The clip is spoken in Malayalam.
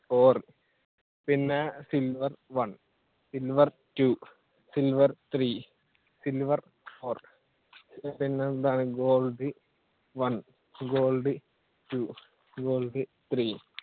four പിന്നെ silver one, silver two, silver three, silver four എന്താണ് gold one, gold two, gold three